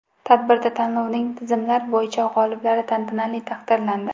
Tadbirda tanlovning tizimlar bo‘yicha g‘oliblari tantanali taqdirlandi.